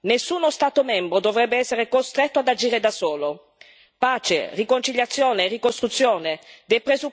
Solidarietà ed equa ripartizione delle responsabilità nessuno Stato membro dovrebbe essere costretto ad agire da solo.